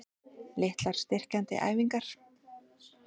Litlar styrkjandi æfingar?